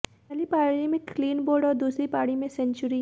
पहली पारी में क्लीन बोल्ड और दूसरी पारी में सेंचुरी